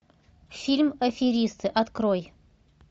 фильм аферисты открой